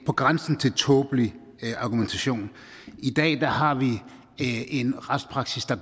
på grænsen til tåbelig argumentation i dag har vi en retspraksis der